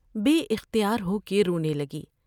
بے اختیار ہو کے رونے لگی ۔